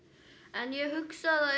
en ég hugsa